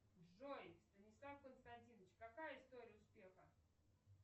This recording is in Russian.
джой станислав константинович какая история успеха